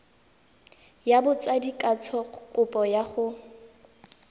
ya botsadikatsho kopo ya go